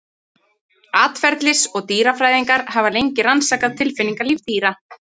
Atferlis- og dýrafræðingar hafa lengi rannsakað tilfinningalíf dýra.